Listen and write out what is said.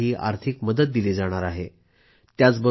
घर बांधण्यासाठी आर्थिक मदत दिली जाईल